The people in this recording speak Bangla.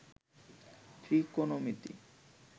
ত্রিকোণমিতি